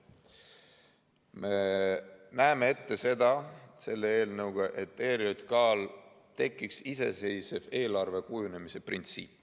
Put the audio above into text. Me näeme selle eelnõuga ette, et ERJK‑l tekiks iseseisev eelarve kujunemise printsiip.